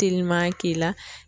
Teliman k'i la.